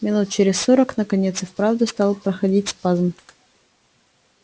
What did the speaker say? минут через сорок наконец и вправду стал проходить спазм